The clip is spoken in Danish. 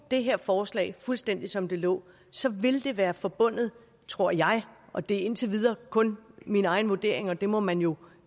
det her forslag fuldstændig som det lå så ville det være forbundet tror jeg og det er indtil videre kun min egen vurdering og den må man jo